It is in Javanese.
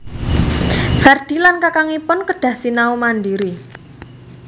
Ferdi lan kakangipun kedah sinau mandiri